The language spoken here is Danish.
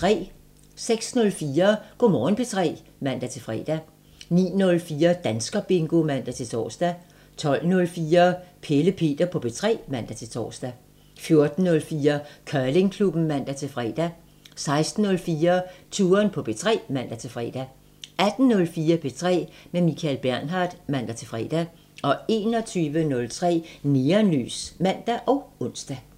06:04: Go' Morgen P3 (man-fre) 09:04: Danskerbingo (man-tor) 12:04: Pelle Peter på P3 (man-tor) 14:04: Curlingklubben (man-fre) 16:04: Touren på P3 (man-fre) 18:04: P3 med Michael Bernhard (man-fre) 21:03: Neonlys (man og ons)